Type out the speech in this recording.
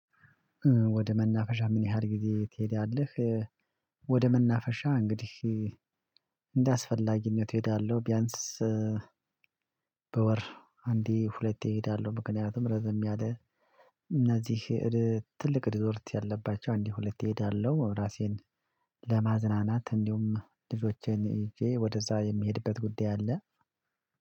ወደ መናፈሻ ምን ያህል ጊዜ ትሄዳለህ? ወደ መናፈሻ እንግዲህ እንደአስፈላጊነቱ እሄዳለሁ ቢያንስ በወር አንዴ ሁለቴ እሄዳለሁ። ምክንያቱም ረዘም ያለ እነዚህ ትልቅ ሪዞርት ያለባቸው አንድ ሁለቴ እሄዳለሁ። እራሴን ለማዝናናት እንዲሁም ልጆቼን ይዤ ወደዛ የሚሄድበት ጉዳይ አለ።